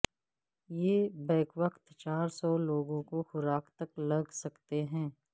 یہ بیک وقت چار سو لوگوں کو خوراک تک لگ سکتے ہیں